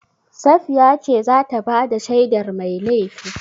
Safiya ce za ta ba da shaidar mai laifi.